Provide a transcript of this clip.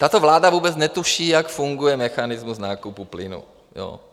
Tato vláda vůbec netuší, jak funguje mechanismus nákupu plynu.